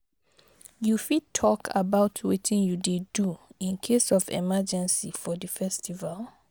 you fit talk about wetin you dey do in case of emergency for di festival?